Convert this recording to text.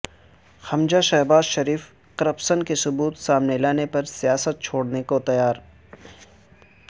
حمزہ Shahbaz Sharif corruption کے ثبوت سامنے لانے پر سیاست چھوڑنے کا تیار